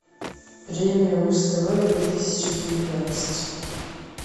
премия муз тв две тысячи девятнадцать